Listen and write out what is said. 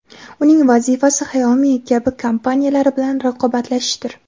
Uning vazifasi Xiaomi kabi xitoy kompaniyalari bilan raqobatlashishdir.